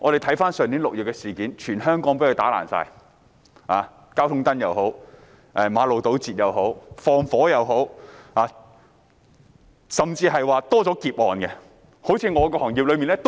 回顧去年6月的事件，當時全香港被破壞，包括破壞交通燈、堵塞馬路、放火，甚至連劫案也增加了。